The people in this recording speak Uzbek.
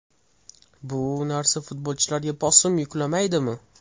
Bu narsa futbolchilarga bosim yuklamaydimi?